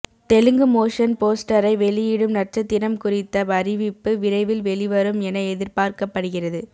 Telugu motion போஸ்டரை வெளியிடும் நட்சத்திரம் குறித்த அறிவிப்பு விரைவில் வெளிவரும் என எதிர்பார்க்கப்படுகிறது